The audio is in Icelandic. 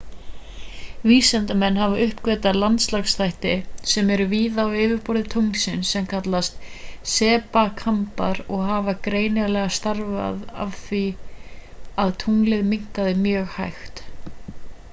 vísindamenn hafa uppgötvað landlagsþætti sem eru víða á yfirborði tunglsins sem kallast sepakambar og hafa greinilega stafað af því að tunglið minnkaði mjög hægt